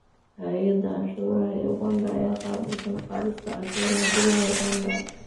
Hay’adda Canshuuraha ee Uganda ayaa qaabilsan qaadista canshuuraha gudaha Uganda.